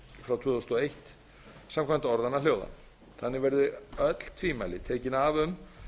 frá tvö þúsund og einn samkvæmt orðanna hljóðan þannig verði öll tvímæli tekin af um